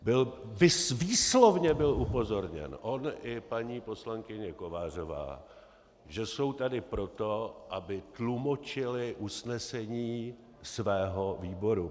Výslovně byl upozorněn on i paní poslankyně Kovářová, že jsou tady proto, aby tlumočili usnesení svého výboru.